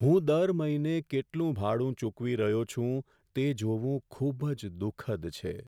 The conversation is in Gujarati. હું દર મહિને કેટલું ભાડું ચૂકવી રહ્યો છું તે જોવું ખૂબ જ દુઃખદ છે.